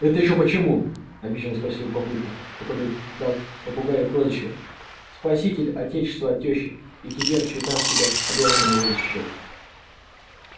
это ещё почему обиженно спросил папулька который дал попугаю прозвище спаситель отечества от тёщи и теперь считал себя обязанным его защищать